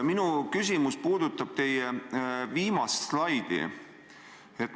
Minu küsimus puudutab teie viimast slaidi.